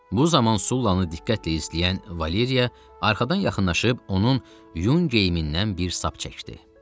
Bu zaman Sullanı diqqətlə izləyən Valeriya arxadan yaxınlaşıb onun yun geyimindən bir sap çəkdi.